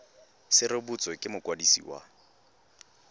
se rebotswe ke mokwadisi wa